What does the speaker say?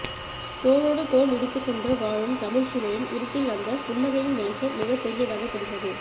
தோளோடு தோள் இடித்துக்கொண்டு வாழும் தமிழ்ச்சூழலின் இருட்டில் அந்த புன்னகையின் வெளிச்சம் மிகப்பெரியதாகத் தெரிந்தது